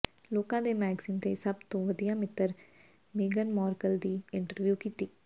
ਲੋਕਾਂ ਦੇ ਮੈਗਜ਼ੀਨ ਨੇ ਸਭ ਤੋਂ ਵਧੀਆ ਮਿੱਤਰ ਮੇਗਨ ਮਾਰਕਲ ਦੀ ਇੰਟਰਵਿਊ ਕੀਤੀ